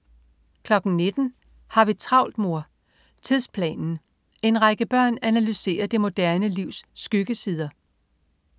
19.00 Har vi travlt, mor? Tidsplanen. En række børn analyserer det moderne livs skyggesider